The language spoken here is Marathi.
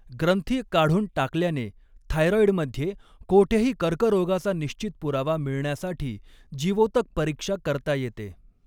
ग्रंथी काढून टाकल्याने थायरॉईडमध्ये कोठेही कर्करोगाचा निश्चित पुरावा मिळण्यासाठी जीवोतक परीक्षा करता येते.